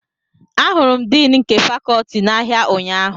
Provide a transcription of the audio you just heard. Ahụrụ m Din nke Fakọọti a n'ahịa ụnyahụ